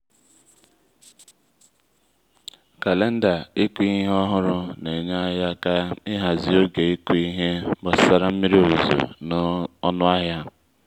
kàléndà ị́kụ́ ihe ọ́hụ́rụ́ nà-ényé ányị́ áká ị́hàzị́ óge ị́kụ́ ihe gbasara mmiri ozuzo na ọnụ ahịa.